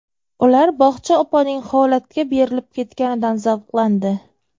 Ular bog‘cha opaning holatga berilib ketganidan zavqlandi.